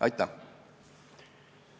Aitäh!